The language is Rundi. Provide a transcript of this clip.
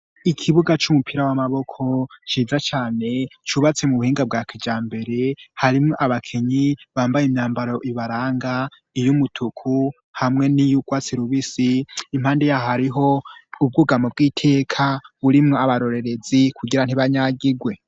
Ikibuga c'umupira w'amaboko ciza cane cubatse mu buhinga bwa kijambere harimwo abakinyi bambaye imyambaro ibaranga iyumutuku hamwe n'iyurwatsi rubisi impande yaho hariho ubwugamo bw'iteka burimwo abarorerezi kugira ntibanyagigwe.